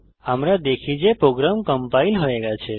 আমরা দেখি যে প্রোগ্রাম কম্পাইল হয়ে গেছে